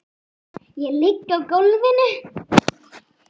Ég ligg á gólfi.